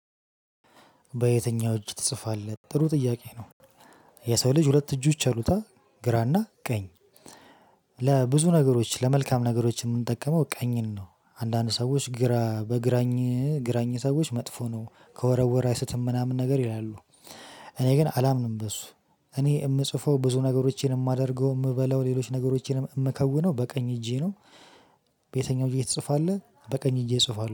በየትኛው እጅ ትጽፋለህ? ጥሩ ጥያቄ ነው። የሰው ልጅ ሁለት እጆች አሉት ግራና ቀኝ። ለብዙ ነገሮች ለመልካም ነገሮች የምንጠቀመው ቀኝን ነው። አንዳንድ ሰዎች ግራ በግራኝ ግራኝ ሰዎች መጥፎ ነው ከወረወራ አይስትም ምናምን ነገር ይላሉ። እኔ ግን አላምንም። በሱ እኔ የምጽፈው ብዙ ነገሮቼን የማደርገው የምበላው ሌሎች ነገሮቼንም የምከውነው በቀኝ እጄ ነው። በየትኛው እጄትፅፋለህ? በቀኝ እጄ እጽፋለሁ